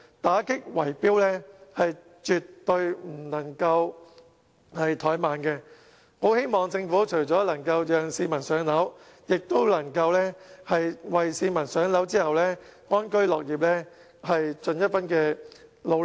打擊圍標絕對不能怠慢，我希望政府除了讓市民"上樓"外，也能為市民"上樓"後安居樂業，盡一分努力。